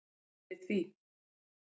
Við vörum við því.